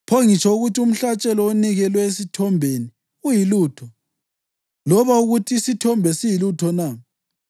Pho ngitsho ukuthi umhlatshelo onikelwe esithombeni uyilutho, loba ukuthi isithombe siyilutho na?